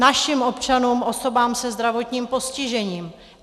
Našim občanům, osobám se zdravotním postižením.